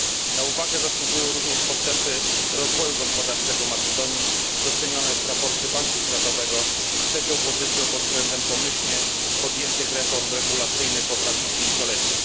Na uwagę zasługują również postępy rozwoju gospodarczego Macedonii, docenione w raporcie Banku Światowego trzecią pozycją pod względem pomyślnie podjętych reform regulacyjnych w ostatnim pięcioleciu.